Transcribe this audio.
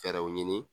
Fɛɛrɛw ɲini